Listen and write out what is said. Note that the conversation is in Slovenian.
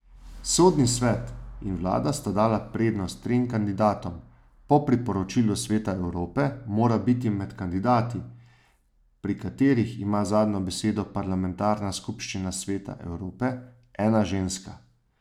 Sodni svet in vlada sta dala prednost trem kandidatom, po priporočilu Sveta Evrope mora biti med kandidati, pri katerih ima zadnjo besedo parlamentarna skupščina Sveta Evrope, ena ženska.